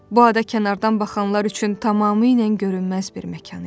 Bu ada kənardan baxanlar üçün tamamilə görünməz bir məkan idi.